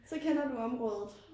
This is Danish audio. Så kender du området